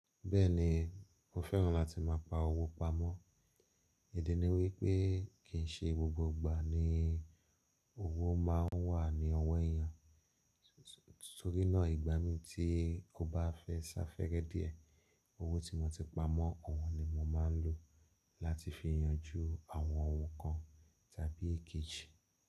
Bẹ́ẹ̀ni, mo fẹ́ràn láti máa pa owó pamọ́. Ìdí ni wípé kì í ṣe gbogbo ìgbà ni owó máa ń wà ní ọwọ́ èèyàn. Torí náà ìgbà mí tí ò bá fẹ́ ṣàfẹ́rẹ́ díẹ̀, owó tí mo ti pa mó, ọ̀wọ́n ni mo máa ń lò láti fi yanjú àwọn ohun kan tàbí èkejì.